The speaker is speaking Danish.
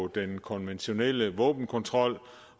den konventionelle våbenkontrol